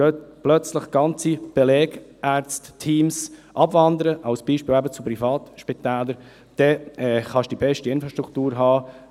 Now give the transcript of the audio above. Wenn plötzlich ganze Belegarztteams abwandern, als Beispiel, eben zu Privatspitälern, dann kannst du die beste Infrastruktur haben.